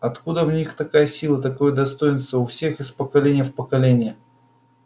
откуда в них такая сила такое достоинство у всех из поколения в поколение